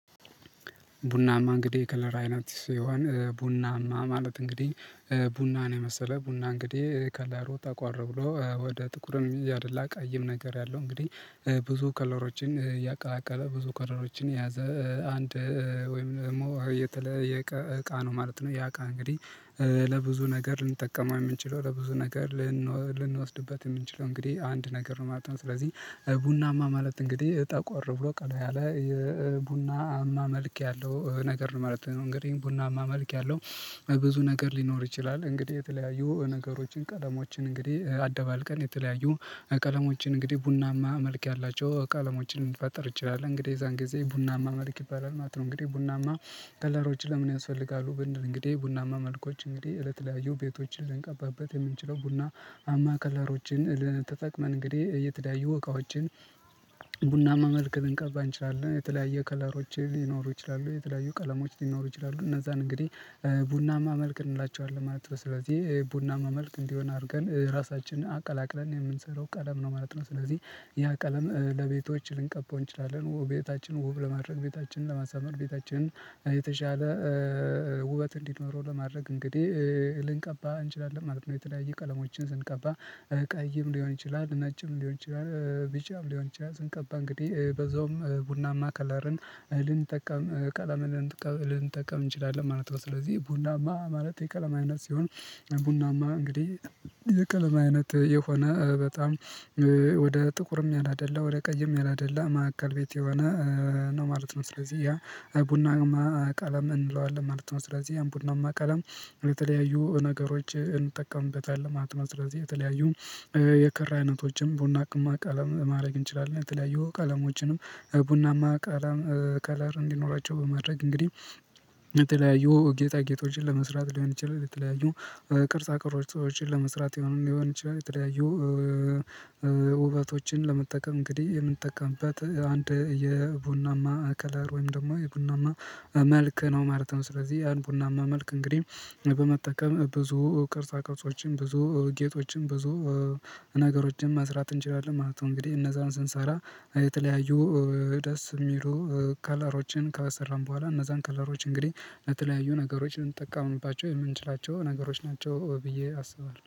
ቡናማ እንግዲህ የከለር አይነት ሲሆን ቡናማ ማለት እንግዲህ ቡና ነው የመሰለ ቡና እንግዲህ ከለሩ ጠቆር ብሎ ወደ ጥቁርም እያደላ ቀይም ነገር ያለው እንግዲህ ብዙ ከለሮችን እያቀላቀለ ብዙ ክለሮችን የያዘ አንድ ወይም ደግሞ የተለየ እቃ ነው ማለት ነው። ያ እቃ እንግዲህ ለብዙ ነገር ልንጠቀመው የምንችለው ለብዙ ነገር ልንወስድበት የምንችለው እንግዲህ አንድ ነገር ነው ማለት ነው። ስለዚህ ቡናማ ማለት እንግዲህ ጠቆር ብሎ ቀላ ያለ የቡና አማ መልክ ያለው ነገር ማለት ነው። እንግዲህ ቡና አማ መልክ ያለው ብዙ ነገር ሊኖር ይችላል። እንግዲህ የተለያዩ ነገሮችን ቀለሞችን እንግዲህ አደባልቀን የተለያዩ ቀለሞችን እንግዲህ ቡናማ መልክ ያላቸው ቀለሞችን ልንፈጥር እንችላለን እንግዲህ የዛን ጊዜ ቡናማ መልክ ይባላል ማለት ነው። እንግዲህ ቡናማ ከለሮች ለምን ያስፈልጋሉ ብንል እንግዲህ ቡናማ መልኮች እንግዲህ ለተለያዩ የቤቶችን ልንቀባበት የምንችለው ቡና አማ ከለሮችን ልንጠቅመን እንግዲህ እየተዳዩ እቃዎችን። መልክ ልንቀባ እንችላለን የተለያየ ከለሮችን ሊኖሩ ይችላሉ የተለያዩ ቀለሞች ሊኖሩ ይችላሉ እነዛን እንግዲህ ቡና መልክ እንላቸዋለን ማለት ነው። ስለዚህ ቡና መልክ እንዲሆን አድርገን ራሳችንን አቀላቅለን የምንሰራው ቀለም ነው ማለት ነው። ስለዚህ ያ ቀለም ለቤቶች ልንቀባው እንችላለን ውብ ቤታችን ውብ ለማድረግ ቤታችን ለማሳመር ቤታችን የተሻለ ውበት እንዲኖረው ለማድረግ እንግዲህ ልንቀባ እንችላለን ማለት ነው። የተለያየ ቀለሞችን ስንቀባ እቀይም ሊሆን ይችላል ነጭም ሊሆን ይችላል ቢጫም ሊሆን ይችላል ስንቀባ እንግዲህ በዛውም ቡናማ ከለርን እልን ጠቀም ቀለምን እልን ጠቀም እንችላለን ማለት ነው። ስለዚህ ቡናማ ማለት የቀለማ አይነት ሲሆን ቡናማ እንግዲህ የቀለማ አይነት የሆነ በጣም ወደ ጥቁርም ያላደላ ወደ ቀይም ያላደላ ማዕከል ቤት የሆነ ነው ማለት ነው። ስለዚህ ያ ቡናማ ቀለም እንለዋለን ማለት ነው ስለዚህ ያን ቡናማ ቀለም የተለያዩ ነገሮችን እንጠቀምበታለን ማለት ነው። ስለዚህ የተለያዩ የክራ አይነቶችን ቡናማ ከለርማድረግ እንችላለን የተለያዩ ቀለሞችንም ቡናማ ቀለር እንዲኖራቸው በማድረግ እንግዲህ የተለያዩ ጌጣ ጌጦችን ለመስራት ሊሆን ይችላል። የተለያዩ ቅርጻ ቅርጾችን ለመስራት ይሆናል ሊሆን ይችላል የተለያዩ ውበቶችን ለመጠቀም እንግዲህ የምንጠቀምበት አንድ የቡናማ ከለር ወይም ደግሞ የቡናማ መልክ ነው ማለት ነው። ስለዚህ ያን ቡናማ መልክ እንግዲህ በመጠቀም ብዙ ቅርጻ ቅርጾችን ብዙ ጌጦችን ብዙ ነገሮችን መስራት እንችላለን ማለት ነው። እንግዲህ እነዛን ስንሰራ የተለያዩ ደስ የሚሉ ከለሮችን ከሰራን በኋላ እነዛን ከለሮች እንግዲህ ለተለያዩ ነገሮች ልንጠቀምባቸው የምንችላቸው ነገሮች ናቸው። ብዬ አስባለሁ